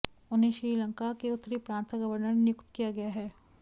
उन्हें श्रीलंका के उत्तरी प्रांत का गवर्नर नियुक्त किया गया है